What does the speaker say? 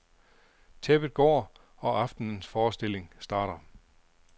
Tæppet går, og aftenens forestilling starter.